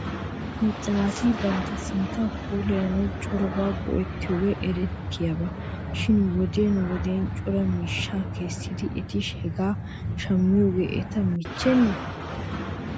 Macca naati bantta sinttaa puulayanaw corabaa go'etiyoogii erettiyaaba shin wodiyan wodiya cora miishshaa kessidi eti hegaa shammiyoogee eta michchenee ?